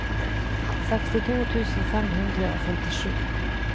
sekstito tusen fem hundre og femtisju